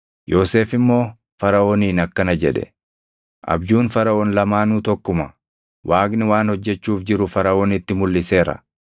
Yoosef immoo Faraʼooniin akkana jedhe; “Abjuun Faraʼoon lamaanuu tokkuma. Waaqni waan hojjechuuf jiru Faraʼoonitti mulʼiseera.